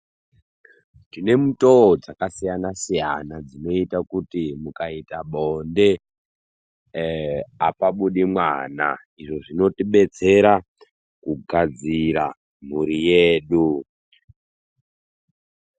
Tine mitowo dzaka siyana siyana dzinoita kuti mukaita bonde apabudi mwana izvo zvino tibetsera kugadzira mhuri yedu.